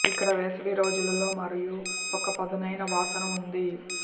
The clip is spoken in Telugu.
ఇక్కడ వేసవి రోజులలో మరియు ఒక పదునైన వాసన ఉంది